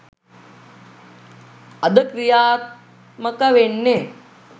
අද ක්‍රියාත්මක වෙන්නේ